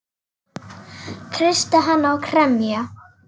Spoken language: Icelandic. Kreista hana og kremja.